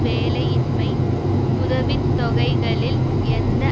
வேலையின்மை உதவி தொகைகளில் எந்த